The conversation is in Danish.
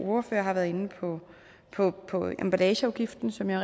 ordførere har været inde på emballageafgiften som jeg